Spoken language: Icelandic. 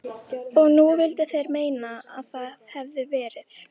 Og nú vildu þeir meina að það hefðu verið